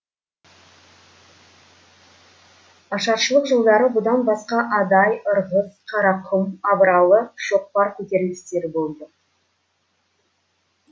ашаршылық жылдары бұдан басқа адай ырғыз қарақұм абыралы шоқпар көтерілістері болды